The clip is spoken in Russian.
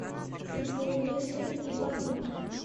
футбол лестер и борнмут